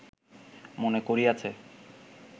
মনে করিয়াছে